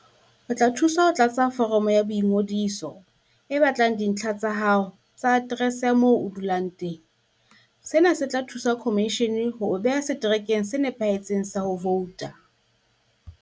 O tla thuswa ho tlatsa foromo ya boingodiso e batlang dintlha tsa hao tsa aterese ya moo o dulang teng. Sena se tla thusa khomishene ho o beha seterekeng se nepahetseng sa ho vouta.